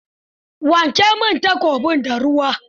Wanke min takobin da ruwa.